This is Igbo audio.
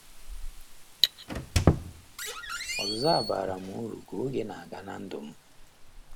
Ọzụzụ a baara m uru ka oge na - aga ná ndụ m.